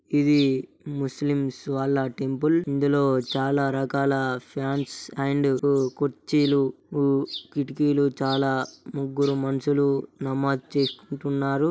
ఇధి ముస్లిమ్స్ అల్లా టెంపుల్ ఇందులో చాలా రకాల ఫ్యాన్స్ అండ్ కుర్చీలు కిటికీలు చాలా ముగ్గురు మనుషులు నమాజ్ చేసుకుంటున్నారు .